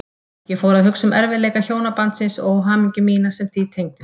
Ég fór að hugsa um erfiðleika hjónabandsins og óhamingju mína sem því tengdist.